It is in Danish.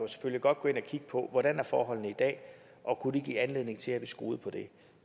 kigge på hvordan er forholdene i dag og kunne det give anledning til at vi skruede på det